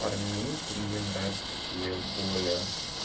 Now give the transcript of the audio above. парней то мне нравятся такие боле